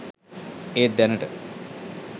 ඒත් දැනට